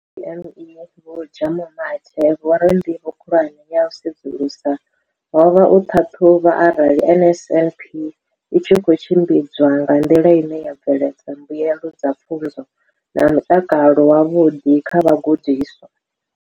Kha DPME, Vho Jabu Mathe, vho ri ndivho khulwane ya u sedzulusa ho vha u ṱhaṱhuvha arali NSNP i tshi khou tshimbidzwa nga nḓila ine ya bveledza mbuelo dza pfunzo na mutakalo wavhuḓi kha vhagudiswa.